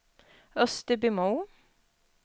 Österbymo